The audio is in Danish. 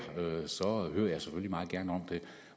så hører jeg meget gerne om det